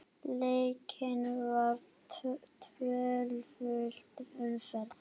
Leikin var tvöföld umferð.